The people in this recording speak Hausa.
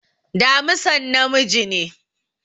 Damisan namiji ne